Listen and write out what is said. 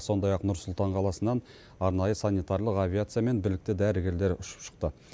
сондай ақ нұр сұлтан қаласынан арнайы санитарлық авиациямен білікті дәрігерлер ұшып шықты